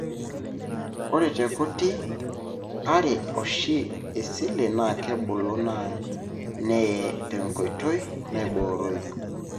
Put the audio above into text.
ore tekuti, ore oshi, iseli na kebulu na neye tenkoitoi naiboroyu.